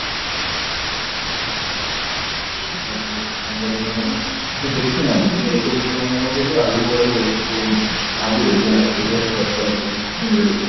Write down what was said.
ମାନେ ସିଏ ଦେଖିନାହାନ୍ତି ମାନେ କଣ କହିଲୁ ଆଗକୁ ଗଲେ ଏଇ ସବୁ ଜିନିଷ ଭାବିବେ ଯେ ଏଇ ସବୁ କରିପାରିଲୁନୁ